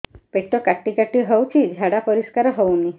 ପେଟ କାଟି କାଟି ହଉଚି ଝାଡା ପରିସ୍କାର ହଉନି